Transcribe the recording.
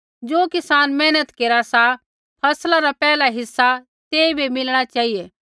ज़ो किसान मेहनत केरा सा फसला रा पैहला हिस्सा तेइबै मिलणा चेहिऐ